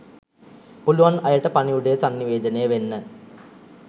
පුලුවන් අයට පණිවුඩය සන්නිවේදනය වෙන්න